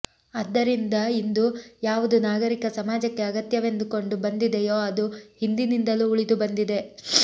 ಆದ್ದರಿಂದ ಇಂದು ಯಾವುದು ನಾಗರಿಕ ಸಮಾಜಕ್ಕೆ ಅಗತ್ಯವೆಂದುಕೊಂಡು ಬಂದಿದೆಯೋ ಅದು ಹಿಂದಿನಿಂದಲೂ ಉಳಿದು ಬಂದಿದೆ